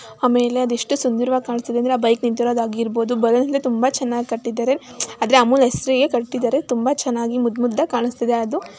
ಆಮೇಲೆ ಅದು ಎಷ್ಟು ಸುಂದರವಾಗಿ ಕಾಣಸ್ತಿದೆ ಅಂದ್ರೆ ಬೈಕ್ ನಿಂತಿರೋದಾಗಿರಬಹುದು ಬಲೂನ್ ಯಿಂದ ತುಂಬಾ ಚನ್ನಾಗಿ ಕಟ್ಟಿದ್ದಾರೆ ಉಮ್ಚ್ ಅದ್ರೆ ಅಮುಲ್ ಹೆಸ್ರಿಗೆ ಕಟ್ಟಿದರೆ ತುಂಬಾ ಚನ್ನಾಗಿ ಮುದ್ ಮುದ್ದಾಗಿ ಕಾಣಸ್ತಿದೆ ಅದು.